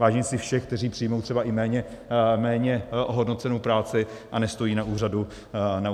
Vážím si všech, kteří přijmou třeba i méně ohodnocenou práci a nestojí na úřadu práce.